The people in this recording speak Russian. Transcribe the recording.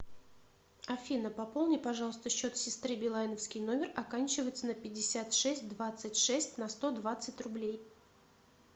афина пополни пожалуйста счет сестры билайновский номер оканчивается на пятьдесят шесть двадцать шесть на сто двадцать рублей